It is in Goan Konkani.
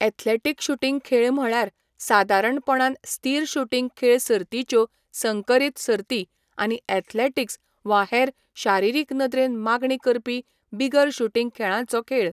एथलेटिक शूटिंग खेळ म्हळ्यार सादारणपणान स्थिर शूटिंग खेळ सर्तींच्यो संकरीत सर्ती आनी एथलेटिक्स वा हेर शारिरीक नदरेन मागणी करपी बिगर शूटिंग खेळांचो खेळ.